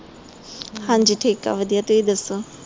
ਹਾਂਜੀ ਠੀਕ ਆ ਵਧੀਆ ਤੁਸੀ ਦਸੋ